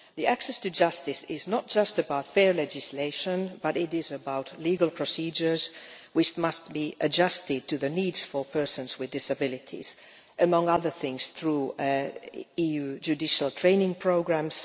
Access to justice is not just about fair legislation it is about legal procedures which must be adjusted to the needs of persons with disabilities, inter alia through EU judicial training programmes.